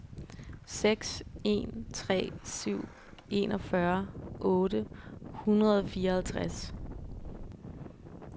seks en tre syv enogfyrre otte hundrede og fireoghalvtreds